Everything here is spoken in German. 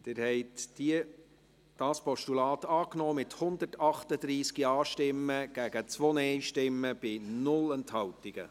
Sie haben das Postulat angenommen, mit 138 Ja- gegen 2 Nein-Stimmen bei 0 Enthaltungen.